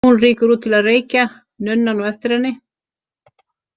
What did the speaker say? Hún rýkur út til að reykja, nunnan á eftir henni.